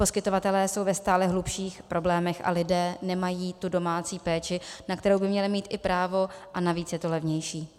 Poskytovatelé jsou ve stále hlubších problémech a lidé nemají tu domácí péči, na kterou by měli mít i právo, a navíc je to levnější.